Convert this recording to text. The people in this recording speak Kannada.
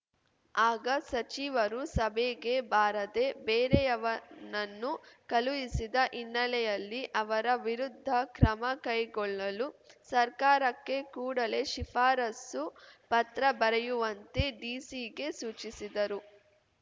ಆಗ ಸಚಿವರು ಸಭೆಗೆ ಬಾರದೆ ಬೇರೆಯವನನ್ನು ಕಳುಹಿಸಿದ ಹಿನ್ನೆಲೆಯಲ್ಲಿ ಅವರ ವಿರುದ್ಧ ಕ್ರಮ ಕೈಗೊಳ್ಳಲು ಸರ್ಕಾರಕ್ಕೆ ಕೂಡಲೇ ಶಿಫಾರಸು ಪತ್ರ ಬರೆಯುವಂತೆ ಡಿಸಿಗೆ ಸೂಚಿಸಿದರು